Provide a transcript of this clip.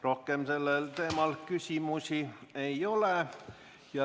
Rohkem sellel teemal küsimusi ei ole.